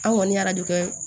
An kɔni y'a de kɛ